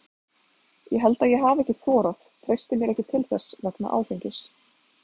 Ég held að ég hafi ekki þorað, treysti mér ekki til þess vegna áfengis.